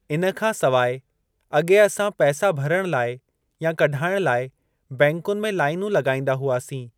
इन खां सवाइ अॻे असां पैसा भरण लाइ या कढाइण लाइ बैंकुनि में लाइनूं लॻाइंदा हुआसीं।